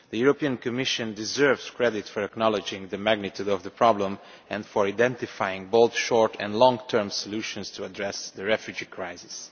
The Commission deserves credit for acknowledging the magnitude of the problem and for identifying both short and long term solutions to address the refugee crisis.